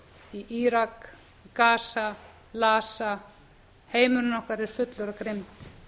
í írak gaza gaza heimurinn okkar er fullur af grimmd